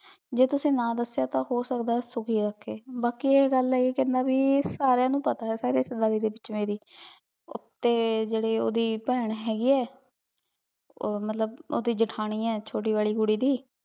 ਜੇ ਤੁਸੀਂ ਨਾ ਦਸ੍ਯ ਤਾਂ ਹੋ ਸਕਦਾ ਆਯ ਸੁਖੀ ਰਾਖੇ ਬਾਕ਼ੀ ਆਯ ਗਲ ਆਯ ਕੇ ਕਹੰਦਾ ਭੀ ਸਾਰੀਆਂ ਨੂ ਪਤਾ ਆਯ ਸਾਰੀ ਰਿਸ਼੍ਤਾਯ੍ਦਾਰੀ ਵਿਚ ਮੇਰੀ ਤੇ ਜੇਰੇ ਓੜੀ ਪੈਣ ਹੇਗੀ ਆਯ ਊ ਮਤਲਬ ਓੜੀ ਜੀਥਾਨੀ ਆਯ ਚੋਟੀ ਵਾਲੀ ਕੁਰੀ ਦੀ